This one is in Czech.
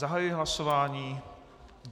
Zahajuji hlasování.